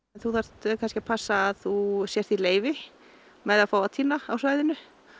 þú þarft kannski að passa að þú sért í leyfi með að fá að tína á svæðinu